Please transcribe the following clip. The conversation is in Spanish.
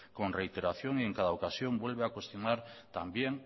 con reiteración y en cada ocasión vuelve a cuestionar también